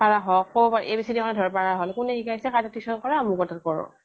পাৰা হওঁক ক, খ, a, b, c, d, খিনি ধৰিব পৰা হ'ল কোনে শিকাইছে কাৰ তাত tuition কৰা অমুক ৰ তাত কৰোঁ